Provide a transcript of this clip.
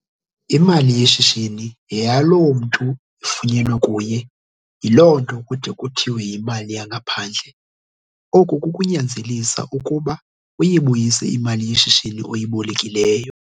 Imali yeshishini yeyaloo mntu ifunyenwe kuye yiloo nto kude kuthiwe yimali yangaphandle. Oku kukunyanzelisa ukuba uyibuyise imali yeshishini oyibolekileyo.